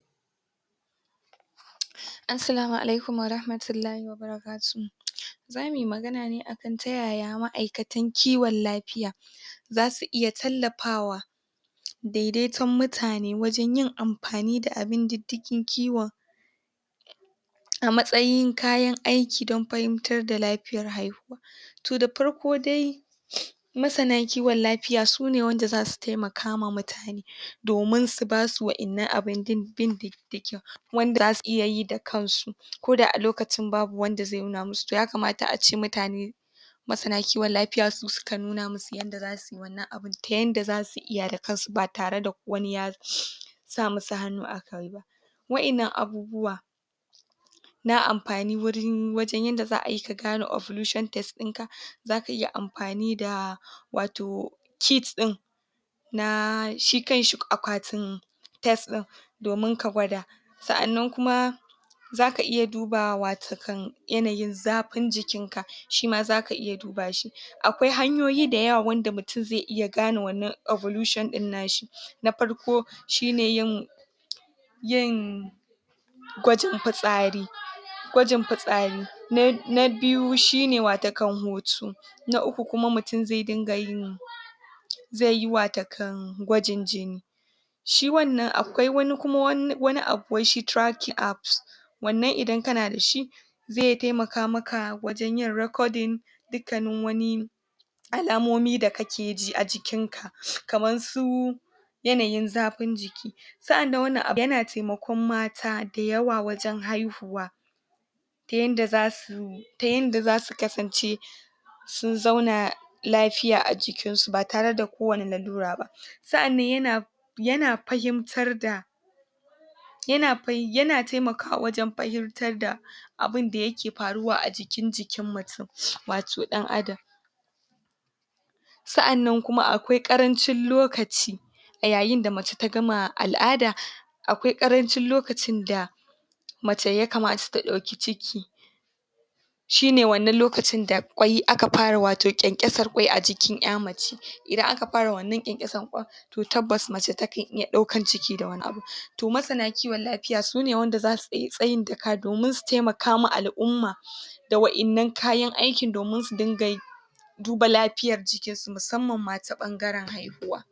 Barka da warhaka a wannan faifai angwado mana ne yanda wato yara suka anfani da hannunsu wajen wato ɗiban ruwa a fanfo na tuƙa tuƙa kamar yanda muka sani wannan fanfo, fanfo ne dayake da taimakon jamaʼa na wannan yanki dama jamaʼa wanda ba na wannan yanki ba ba kamar yanda muka sani akwai lokuta da dama da da ake wato wuyan ruwa a wasu sassa na burane dama kuma ƙauyuka, akwai ƙauyuka da dama wanda suke fama da rashin ruwa yayinda zakaga cewa su kan je sukan je su debi ruwa mai datti da yake ajiye a wuri guda wanda zasu sha suyi abinci suyi anfani dashi wanda irin wayannan yakan jawo cututtuka da dama a jikin mutane yayinda aka samu wato aka yima mutane alʼummar yankuna wato irin wannan fanfo na tuka tuka yakan taimaka wajen rage wato wuyan ruwa wahalan ruwa abune da yakeda matuƙar tashin hankali yayinda ruwa sai da shi wato ake anfani ruwa ma sai da shi kafin a rayu sabida ruwa ana amfani dashi ayi abinci wanda abinci ma dole sai da shi Mutum ya rayu sai mutum ya ci abinci zai rayu ruwa yakanyi anfani a wurare da dama shiyasa akeda buƙatar a rika shan ruwa a kai a kai ruwa abune da yake kawo lafiya a jikin mutum Kuma ruwa irin na tuƙa tuƙa wato irin wannan ruwane da yake fitowa a tsaftace koda wucewane yara sukazo yi a hanya ko manya zakaga cewa in aka ga wato wannan fanfo na tuƙa tuƙa tuƙa ɗaya daga ciki zai iya zuwa Yayi anfani da hannunsa wajenda zai bugi wannan ruwa yayinda ake ɗiban ruwannan akanyi anfani ne da karfi da Kuma hannu na yanda zaʼa buga,, bayan an buga wannan ruwa yakan ja iska sannan wannan ruwa yakan fito Har a samu Ayi anfani dashi wasu sukanyi anfani da jarakuna suje da jarakuna da kayayyaki da zasu debi wannan ruwa yayinda wasu Kuma zasu debi bokitai wasu baho da dai sauran kayan kaye kaye kayayyaki da ake ɗiban ruwa dasu akan ɗebi ruwa a kai Gida wato a je Ayi anfani dashi yayinda zaʼasha zaʼa Kuma yi abinci zaʼayi wanka zaʼa tsaftace muhalli da dai sauran aikace aikace muhimmai wanda akeyi da ruwa kuma Wani lokaci wannan ruwa na fanfo na tuka tuka yakan taimaka koda yarane sukazo wucewa ƙishi ya kamasu sukan wato yi anfani da wannan ruwa yayinda ɗayansu zaije ya buga wannan ruwa sauran Kuma zasu iya anfani da hannunsu wajen tsaftace hannunsu bayan sun tsaftace hannunsu su tari wannan ruwa su sha ruwa wato na fanfo na tuƙa tuƙa yanada matuƙar tasiri yanada muhimmanci muhimmanci yanada anfani ga alʼumma gabaki ɗaya, na gode.